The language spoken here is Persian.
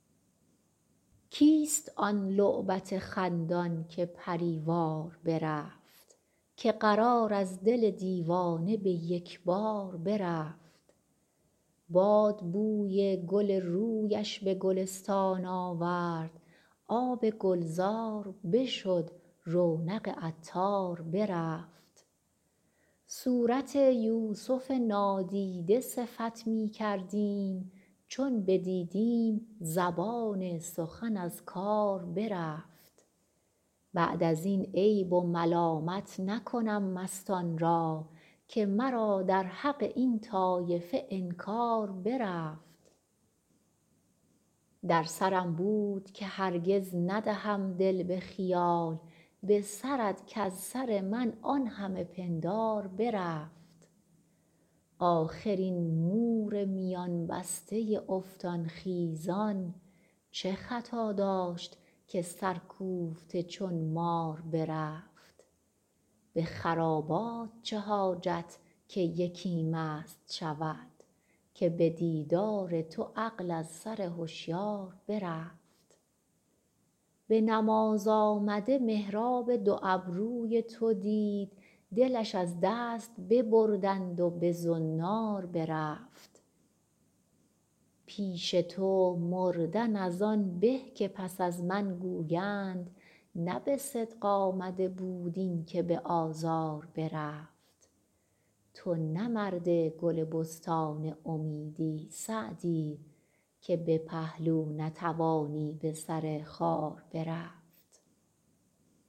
کیست آن لعبت خندان که پری وار برفت که قرار از دل دیوانه به یک بار برفت باد بوی گل رویش به گلستان آورد آب گلزار بشد رونق عطار برفت صورت یوسف نادیده صفت می کردیم چون بدیدیم زبان سخن از کار برفت بعد از این عیب و ملامت نکنم مستان را که مرا در حق این طایفه انکار برفت در سرم بود که هرگز ندهم دل به خیال به سرت کز سر من آن همه پندار برفت آخر این مور میان بسته افتان خیزان چه خطا داشت که سرکوفته چون مار برفت به خرابات چه حاجت که یکی مست شود که به دیدار تو عقل از سر هشیار برفت به نماز آمده محراب دو ابروی تو دید دلش از دست ببردند و به زنار برفت پیش تو مردن از آن به که پس از من گویند نه به صدق آمده بود این که به آزار برفت تو نه مرد گل بستان امیدی سعدی که به پهلو نتوانی به سر خار برفت